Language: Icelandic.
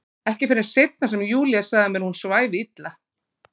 Ekki fyrr en seinna sem Júlía sagði mér að hún svæfi illa.